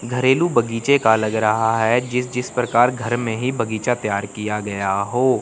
घरेलू बगीचे का लग रहा है जिस जिस प्रकार घर में ही बगीचा तैयार किया गया हो।